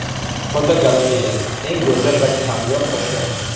Fotogalereya: Eng go‘zal va kamyob toshlar.